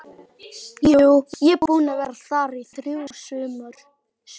Jú, ég er búinn að vera þar í þrjú sumur